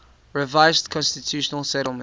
revised constitutional settlement